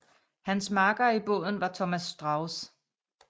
Hans makker i båden var Thomas Strauß